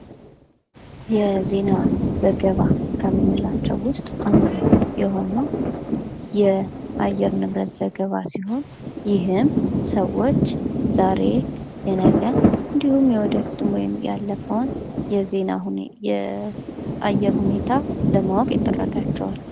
ዜና የመረጃ ነፃነትን የሚያረጋግጥና ዜጎች በመንግስታቸውና በዙሪያቸው ባሉ ጉዳዮች ላይ በቂ ግንዛቤ እንዲኖራቸው የሚያስችል መሠረታዊ መብት ነው። የአየር ንብረት ዜና ስለሚጠበቀው የአየር ሁኔታ መረጃ ይሰጣል።